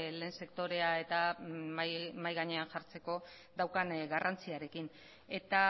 lehen sektorea eta mahai gainean jartzeko daukan garrantziarekin eta